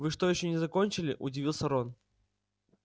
вы что ещё не закончили удивился рон